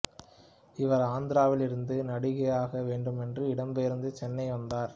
இவர் ஆந்திராவில் இருந்து நடிகையாக வேண்டுமென்று இடம் பெயர்ந்து சென்னை வந்தார்